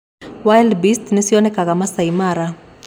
wildbeast nĩcionekaga Masai Mara